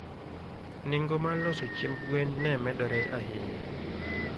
Nengo mar loso chiemb gwen ne medore ahinya.